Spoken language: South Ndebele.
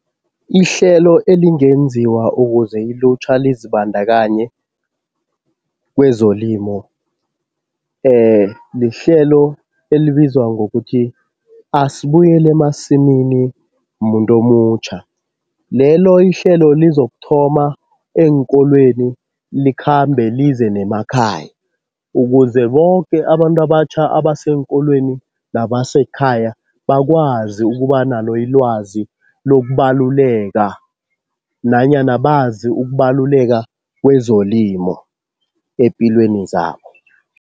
Ihlelo elingenziwa ukuze ilutjha lizibandakanye kwezelimo lihlelo elibizwa ngokuthi, asibuyele emasimini muntu omutjha. Lelo ihlelo lizokuthoma eenkolweni likhambe lize nemakhaya, ukuze boke abantu abatjha abaseenkolweni nabasekhaya bakwazi ukuba nalo ilwazi lokubaluleka nanyana bazi ukubaluleka kwezolimo epilweni zabo.